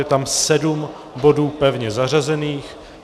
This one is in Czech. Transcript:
Je tam sedm bodů pevně zařazených.